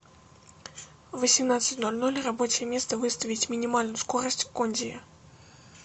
в восемнадцать ноль ноль рабочее место выставить минимальную скорость кондея